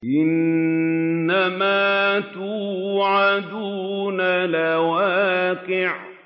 إِنَّمَا تُوعَدُونَ لَوَاقِعٌ